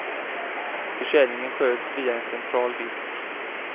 Försäljningen sköts via en central disk.